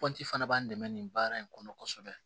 Kɔnti fana b'an dɛmɛ nin baara in kɔnɔ kosɛbɛ